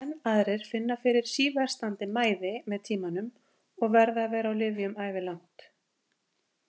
Enn aðrir finna fyrir síversnandi mæði með tímanum og verða að vera á lyfjum ævilangt.